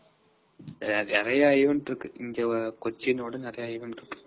நிறையா event இருக்கு.இங்க கொச்சின விட நிறையா event இருக்கு.